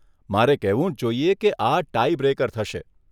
મારે કહેવું જ જોઈએ કે આ 'ટાઈ બ્રેકર' થશે.